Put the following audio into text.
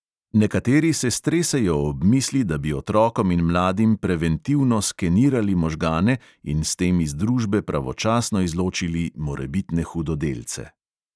Nekateri se stresejo ob misli, da bi otrokom in mladim preventivno skenirali možgane in s tem iz družbe pravočasno izločili morebitne hudodelce.